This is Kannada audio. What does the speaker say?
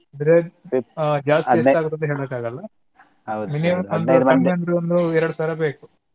ಅಂದ್ರೆ ಜಾಸ್ತಿ ಎಸ್ಟಾಗುತ್ತೆ ಅಂತ ಹೇಳ್ಲೀಕ ಆಗಲ್ಲಾ ಕಮ್ಮಿ ಅಂದ್ರು ಒಂದ್ ಎಡೆದು ಸಾವಿರ ಬೇಕು.